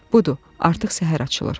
Budur, artıq səhər açılır.